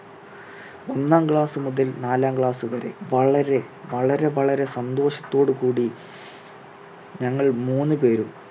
ഒന്നാം class മുതൽ നാലാം class വരെ വളരെ, വളരെ, വളരെ സന്തോഷത്തോട് കൂടി ഞങ്ങൾ മൂന്ന് പേരും